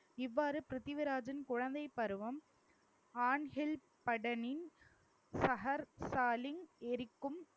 இவ்வாறு பிரித்திவிராஜன் குழந்தைப் பருவம் ஆண்ஹில் படணி சகர் ஸ்டாலின் எரிக்கும்